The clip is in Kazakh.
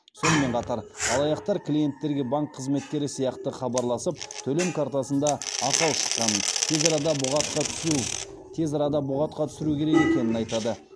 сонымен қатар алаяқтар клиенттерге банк қызметкері сияқты хабарласып төлем картасында ақау шыққанын тез арада бұғатқа түсіру тез арада бұғатқа түсіру керек екенін айтады